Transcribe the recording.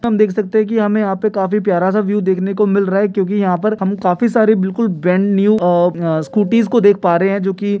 हम देख सकते है की हमे यहाँ काफी प्यारा सा व्यू देखने को मिल रहा है क्यू की यहाँ पे काफी सारी ब्रांड न्यू नई स्कूटीस देख पा रहे है जो की--